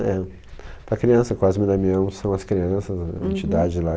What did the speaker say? É. Para criança, Cosme e Damião são as crianças, a entidade lá.